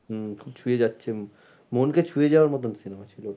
হুম খুব ছুঁয়ে যাচ্ছে মনকে ছুঁয়ে যাওয়ার মতন cinema ছিল।